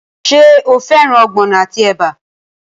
Ṣé o fẹ́ràn ogbono àti ẹ̀bà?